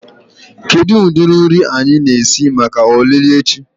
Kedu ụdị nri anyị na-esi maka olili echi?